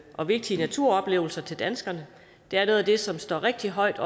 og vigtige naturoplevelser til danskerne det er noget af det som står rigtig højt